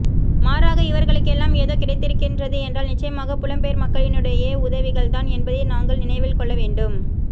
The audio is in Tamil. மாறாக இவர்ளுக்கெல்லாம் ஏதோ கிடைத்திருக்கின்றது என்றால் நிச்சயமாக புலம்பெயர் மக்களினுடைய உதவிகள் தான் என்பதை நாங்கள் நினைவில் கொள்ள வேண்டும்